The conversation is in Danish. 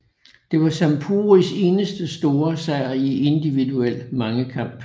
Det var Zamporis eneste store sejr i individuel mangekamp